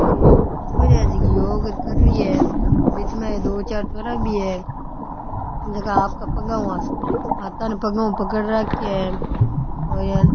ओ एक छोरिया है जकी योग कर रही है बीच में दो चार छोरा भी है जका आपका पगा हु हाथा ने पगा हु पकड़ राख्या है और यान --